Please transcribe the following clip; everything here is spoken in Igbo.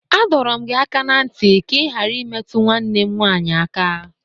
A dọrọ m gị aka na ntị ka ị ghara imetụ nwanne m nwanyị aka!